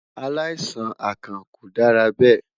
Alaisan akàn ko dara bẹ